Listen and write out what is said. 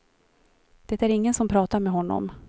Det är ingen som pratar med honom.